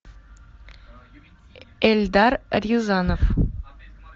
эльдар рязанов